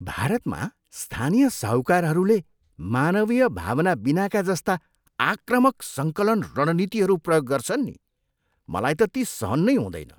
भारतमा स्थानीय साहूकारहरूले मानवीय भावना बिनाका जस्ता आक्रामक सङ्कलन रणनीतिहरू प्रयोग गर्छन् नि मलाई त ती सहन नै हुँदैन।